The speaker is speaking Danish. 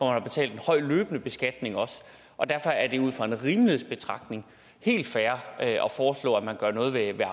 har betalt en høj løbende beskatning og og derfor er det ud fra en rimelighedsbetragtning helt fair at foreslå at man gør noget ved